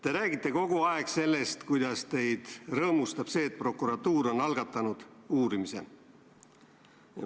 Te räägite kogu aeg, kuidas teid rõõmustab see, et prokuratuur on algatanud uurimise.